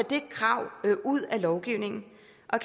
det krav ud af lovgivningen